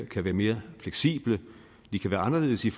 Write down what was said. kan være mere fleksible de kan være anderledes i